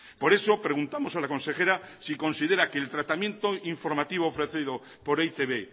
por eso preguntamos a la consejera si considera que el tratamiento informativo ofrecido por e i te be